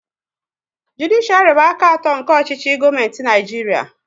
Judishiari bụ aka atọ nke ọchịchị gọọmenti Naijiria